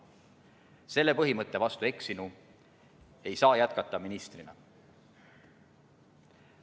Selle põhimõtte vastu eksinu ei saa jätkata ministrina.